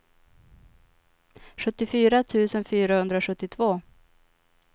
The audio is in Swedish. sjuttiofyra tusen fyrahundrasjuttiotvå